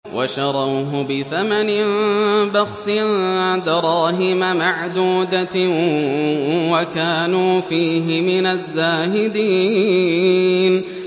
وَشَرَوْهُ بِثَمَنٍ بَخْسٍ دَرَاهِمَ مَعْدُودَةٍ وَكَانُوا فِيهِ مِنَ الزَّاهِدِينَ